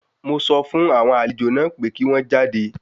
Mo sọ fún àwọn àlejò náà pé kí wọ́n jáde.